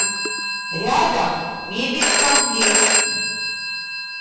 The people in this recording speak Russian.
рядом мебелькомплект